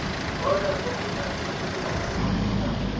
order kwa kgotlatshekelong ya magiseterata